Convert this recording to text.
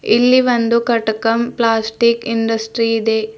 ಇಲ್ಲಿ ಒಂದು ಕಟಕಮ್ ಪ್ಲಾಸ್ಟಿಕ್ ಇಂಡಸ್ಟ್ರಿ ಇದೆ.